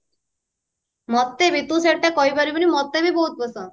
ମତେ ବି ତୁ ସେଟା କହି ପାରିବୁନି ନଟେ ବି ବହୁତ ପସନ୍ଦ